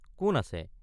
কোন আছে?